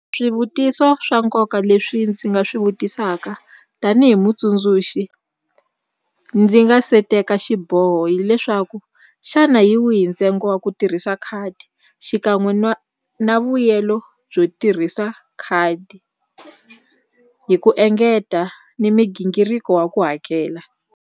Swivutiso swa nkoka leswi ndzi nga swi vutisaka tanihi mutsundzuxi ndzi nga se teka xiboho hileswaku xana hi wihi ntsengo wa ku tirhisa khadi xikan'we na vuyelo byo tirhisa khadi hi ku engeta ni migingiriko wa ku hakela.